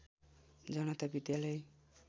जनता विद्यालय